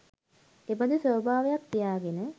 එබඳු ස්වභාවයක් තියාගෙන,